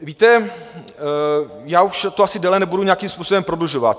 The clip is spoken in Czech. Víte, já už to asi déle nebudu nějakým způsobem prodlužovat.